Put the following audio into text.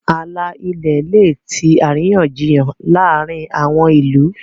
ààlà ilẹ lẹ tí àríyànjiyàn láàrin àwọn ilú.